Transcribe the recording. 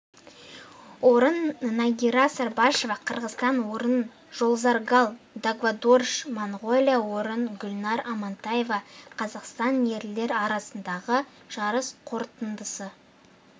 орын нагира сарбашева қырғызстан орын жолзаргал дагвадорж монғолия орын гульнар амантаева қазақстан ерлер арасындағы жарыс қорытындысы